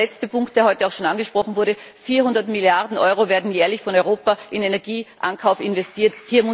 Und der letzte Punkt, der heute auch schon angesprochen wurde 400 Milliarden Euro werden jährlich von Europa in Energieankauf investiert.